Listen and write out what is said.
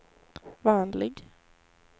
vanlig